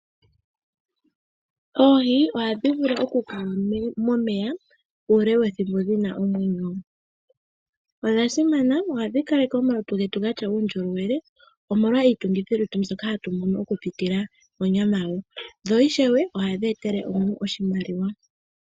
Oohi ohadhi vulu okukala momeya uule wethimbo dhi na omwenyo. Odha simana. Ohadhi kaleke omalutu getu ga tya uundjolowele, omolwa iitungithilutu mbyoka hatu mono okupitila monyama yawo, dho ishewe ohadhi etele aantu oshimaliwa.